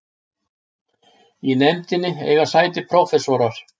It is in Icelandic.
Í nefndinni eiga sæti prófessor